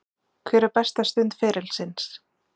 Hver er besta stund ferilsins?